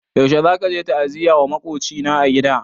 Yaushe zaka je ta'aziyya wa maƙwabcina a gida?